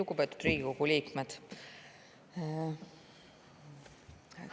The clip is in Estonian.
Lugupeetud Riigikogu liikmed!